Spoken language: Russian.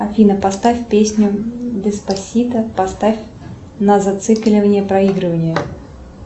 афина поставь песню деспасито поставь на зацикливание проигрывания